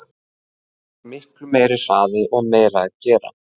Það er miklu meiri hraði og meira að gera.